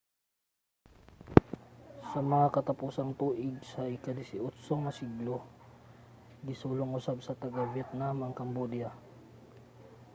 sa mga katapusang tuig sa ika-18 nga siglo gisulong usab sa taga-vietnam ang cambodia